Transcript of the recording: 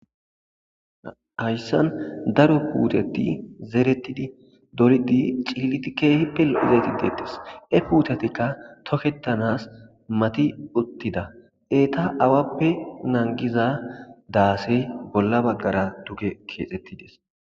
Hayssan daro puuteti zeretidi dolidi ciiliti keehipe lo'ze deettes he puutatikka toketanas mati uttida eeta awappe nagiza daase bolla baggara duge keexettides.